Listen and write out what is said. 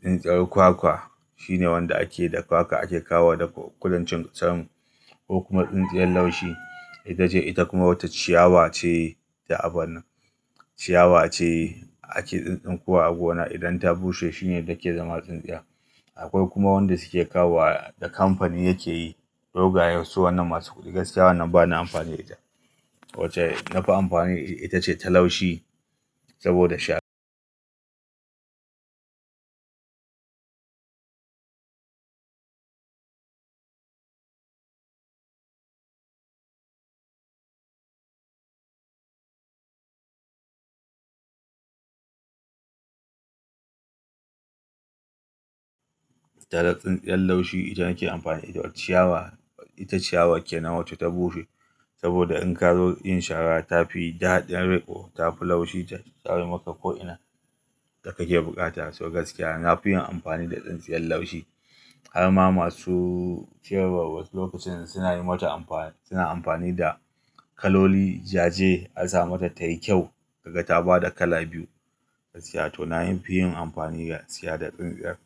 tsintsiyar kwakwa shine wanda ake da kwakwa ake kawo da kudancin ƙasanmu ko kuma tsintsiyar laushi itace ita kuma wata ciyawa ce da abana, ciyawa ce ake tsintsinkowa a gona idan ta bushe shine take zama tsintsiya. Akwai kuma wanda suke kawo da kamfani yake yi dogayen su wannan masu kuɗi gaskiya wannan bana amfani da ita. Wacce nafi amfani ita ce ta laushi saboda sha. Da tsintsiyar laushi ita nake amfani da ita. Ciyawa ita ciyawa kenan wacce ta bushe saboda in ka zo yin shara ta fi daɗin riƙo, ta fi laushi ta tsare maka ko'ina da kake buƙata. So gaskiya nafiyin amfani da tsintsiyar laushi. Harma masu cewa wasu lokacin suna yi mata amfani suna amfani da kaloli jaje an sa mata tai kyau kaga ta ba da kala biyu gaskiya. To na yi fiyin amfani da siya da tsintsiyar.